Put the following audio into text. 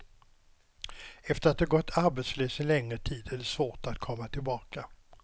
Efter att ha gått arbetslös en längre tid är det svårt att komma tillbaka.